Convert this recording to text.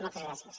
moltes gràcies